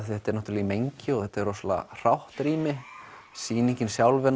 þetta er í mengi og þetta er rosalega hrátt rými sýningin sjálf er